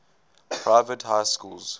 private high schools